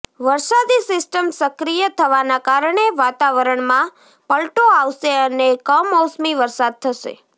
વરસાદી સિસ્ટમ સક્રિય થવાના કારણે વાતાવરણમાં પલટો આવશે અને કમોસમી વરસાદ થશે